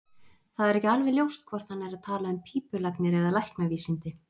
Það er ekki alveg ljóst hvort hann er að tala um pípulagnir eða læknavísindi.